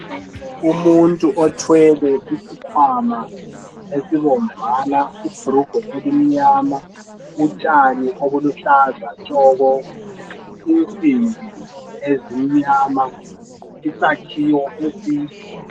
Umuntu othwele isikhwama esibomvana lebhulugwe elimnyama, utshani obuluhlaza tshoko. Insimbi ezimnyama, isakhiwo eside.